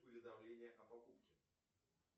уведомления о покупке